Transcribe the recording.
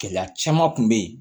Gɛlɛya caman kun bɛ yen